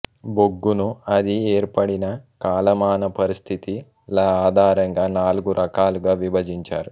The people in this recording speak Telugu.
బొగ్గును అది ఏర్పడిన కాల మాన పరిస్థితి ల ఆధారంగా నాలుగు రకాలుగా విభజించారు